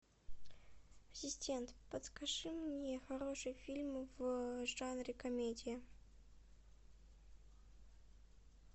ассистент подскажи мне хорошие фильмы в жанре комедия